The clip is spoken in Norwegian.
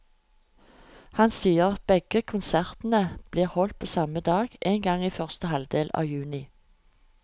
Han sier at begge konsertene blir holdt på samme dag, en gang i første halvdel av juni.